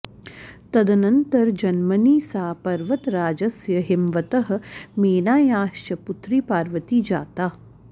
तदनन्तरजन्मनि सा पर्वतराजस्य हिमवतः मेनायाश्च पुत्री पार्वती जाता